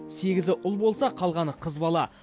сегізі ұл болса қалғаны қыз бала